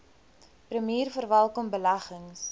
premier verwelkom beleggings